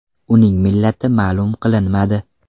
Uning millati ma’lum qilinmadi.